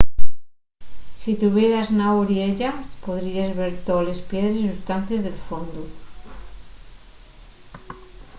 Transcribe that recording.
si tuvieras na oriella podríes ver toles piedres y sustancies del fondu